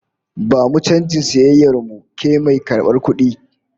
Bamu canjin sayayyar mu, ke mai karbar kudi!